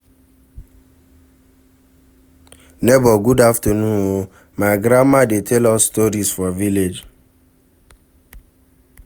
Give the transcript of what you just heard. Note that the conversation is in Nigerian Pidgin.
Nebor good afternoon o, my grandmama dey tell us stories for village.